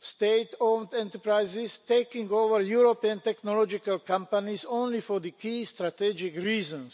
state owned enterprises taking over European technological companies only for the key strategic reasons.